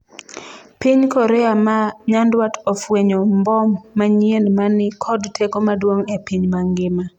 Piny Korea ma nyandwat ofwenyo mbom manyien mani kod teko maduong' e piny mangima